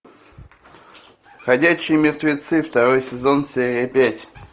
ходячие мертвецы второй сезон серия пять